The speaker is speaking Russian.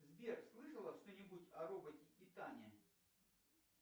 сбер слышала что нибудь о роботе титане